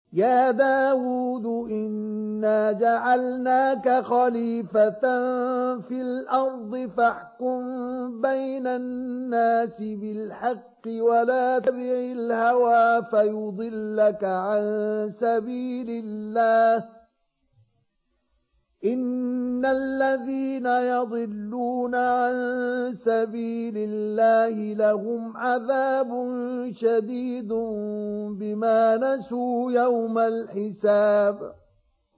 يَا دَاوُودُ إِنَّا جَعَلْنَاكَ خَلِيفَةً فِي الْأَرْضِ فَاحْكُم بَيْنَ النَّاسِ بِالْحَقِّ وَلَا تَتَّبِعِ الْهَوَىٰ فَيُضِلَّكَ عَن سَبِيلِ اللَّهِ ۚ إِنَّ الَّذِينَ يَضِلُّونَ عَن سَبِيلِ اللَّهِ لَهُمْ عَذَابٌ شَدِيدٌ بِمَا نَسُوا يَوْمَ الْحِسَابِ